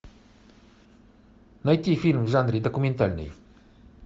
найти фильм в жанре документальный